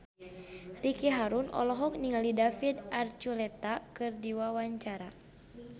Ricky Harun olohok ningali David Archuletta keur diwawancara